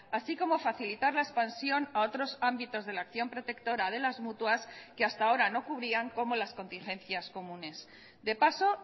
así como facilitar la expansión a otros ámbitos de la acción protectora de las mutuas que hasta ahora no cubrían como las contingencias comunes de paso